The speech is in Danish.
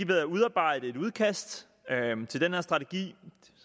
ved at udarbejde et udkast til den her strategi